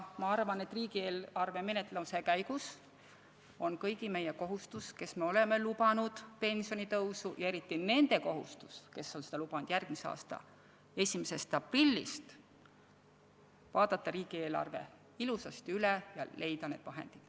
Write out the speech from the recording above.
Ma arvan, et riigieelarve menetluse käigus on kõigi meie kohustus, kes me oleme lubanud pensionitõusu, ja eriti nende kohustus, kes on seda lubanud järgmise aasta 1. aprillist, vaadata riigieelarve ilusasti üle ja leida need vahendid.